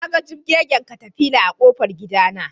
Naga jibgegen katafila a ƙofar gidana